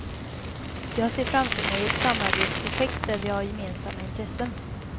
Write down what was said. Jag ser framför mig ett samarbetsprojekt där vi har gemensamma intressen.